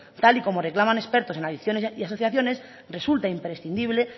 tal y como reclaman expertos en adicciones y asociaciones resulta imprescindible